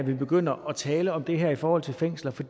at vi begynder at tale om det her i forhold til fængsler for